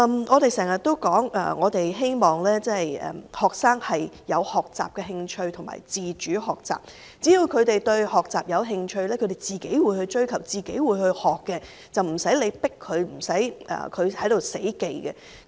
我們經常說希望學生有學習的興趣和自主學習，只要他們對學習感興趣，便會自行追求和學習，不用強迫他們，他們也無需死記。